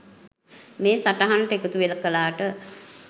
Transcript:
මේ සටහනට එකතුකලාට.